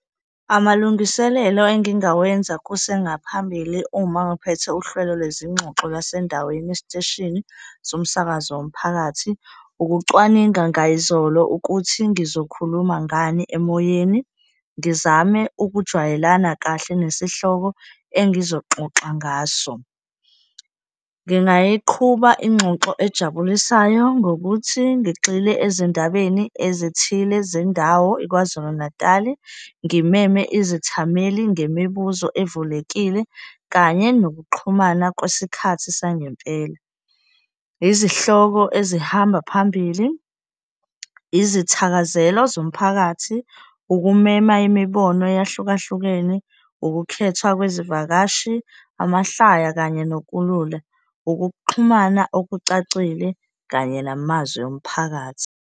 Amalungiselelo engingawenza kusengaphambili uma ngiphethe uhlelo lwezingxoxo lwasendaweni esiteshini somsakazo womphakathi, ukucwaninga ngayizolo ukuthi ngizokhuluma ngani emoyeni, ngizame ukujwayelana kahle nesihloko engizoxoxa ngaso. Ngingayiqhuba ingxoxo ejabulisayo ngokuthi ngigxile ezindabeni ezithile zendawo iKwaZulu Natali, ngimeme izithameli ngemibuzo evulekile kanye nokuxhumana kwesikhathi sangempela, izihloko ezihamba phambili, izithakazelo zomphakathi, ukumema imibono eyahlukahlukene, ukukhethwa kwezivakashi, amahlaya kanye nokulula, ukuxhumana okucacile kanye namazwi omphakathi.